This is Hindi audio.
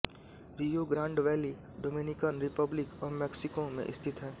रियो ग्रांड वैली डोमेनिकन रिपब्लिक व मैक्सिको में स्थित है